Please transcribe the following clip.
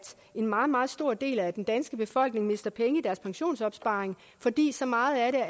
en meget meget stor del af den danske befolkning mister penge i deres pensionsopsparing fordi så meget af